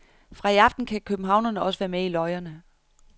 Fra i aften kan københavnerne også være med i løjerne.